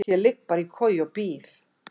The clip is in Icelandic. Ég ligg bara í koju og bíð.